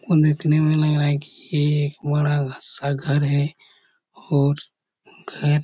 और देखने में लग रहा है की यह एक बड़ा-सा घर है और घर--